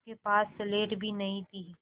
उसके पास स्लेट भी नहीं थी